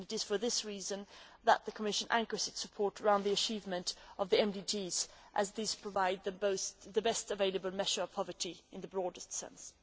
It is for this reason that the Commission anchors its support around the achievement of the MDGs, as these provide the best available measure of poverty in the broader sense.